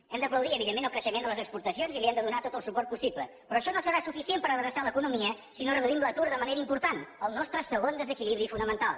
hem d’aplaudir evidentment el creixement de les exportacions i li hem de donar tot el suport possible però això no serà suficient per adreçar l’economia si no reduïm l’atur de manera important el nostre segon desequilibri fonamental